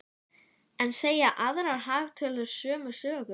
En segja aðrar hagtölur sömu sögu?